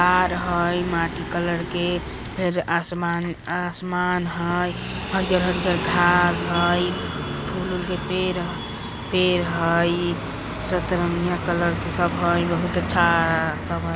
आर हई मिट्टी कलर के फिर आसमान आसमान हई हरियल-हरियल घास हई फूल-वूल के पेड़ ह पेड़ हई सतरंगिया कलर के सब हई बहुत अच्छा --